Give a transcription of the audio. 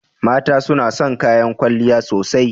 Mata suna son kayan kwalliya sosai.